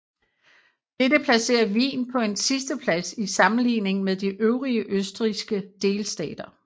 Dette placerer Wien på en sidsteplads i sammenligning med de øvrige østrigske delstater